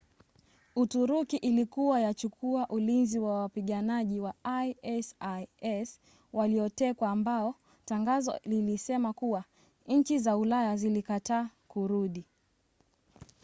uturuki ilikua yachukua ulinzi wa wapiganaji wa isis waliotekwa ambao tangazo lilisema kuwa nchi za ulaya zilikataa kurudi